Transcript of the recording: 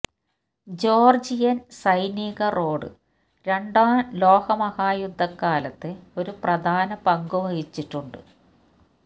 Georgian സൈനിക road രണ്ടാം ലോകമഹായുദ്ധകാലത്ത് ഒരു പ്രധാന പങ്ക് വഹിച്ചിട്ടുണ്ട്